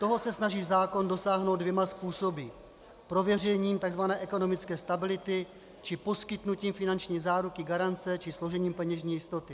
Toho se snaží zákon dosáhnout dvěma způsoby: prověřením tzv. ekonomické stability či poskytnutím finanční záruky, garance či složením peněžní jistoty.